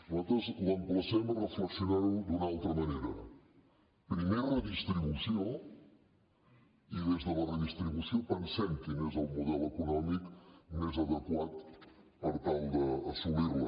nosaltres l’emplacem a reflexionar ho d’una altra manera primer redistribució i des de la redistribució pensem quin és el model econòmic més adequat per tal d’assolir la